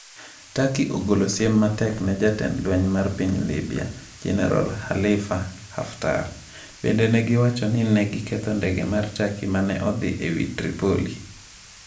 Turkey ogolo siem matek ne jatend lweny mar piny Libya, Jeneral Khalifa Haftar Bende negiwacho ni ne giketho ndege mar Turkey ma ne odhi e wi Tripoli.